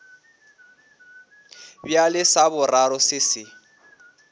bjale sa boraro se se